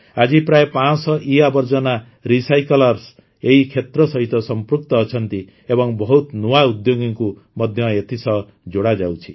ଆଜି ପ୍ରାୟ ୫୦୦ ଇଆବର୍ଜନା ରିସାଇକ୍ଲର୍ସ୍ ଏହି କ୍ଷେତ୍ର ସହିତ ସଂପୃକ୍ତ ଅଛନ୍ତି ଏବଂ ବହୁତ ନୂଆ ଉଦ୍ୟୋଗୀଙ୍କୁ ମଧ୍ୟ ଏଥିସହ ଯୋଡ଼ାଯାଉଛି